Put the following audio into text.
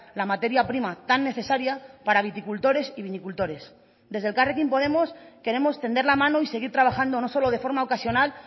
la materia prima tan necesaria para viticultores y vinicultores desde elkarrekin podemos queremos tender la mano y seguir trabajando no solo de forma ocasional